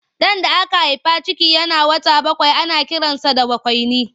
Ɗan da aka haifa ciki yana wata bakwai ana kiransa da bakwaini.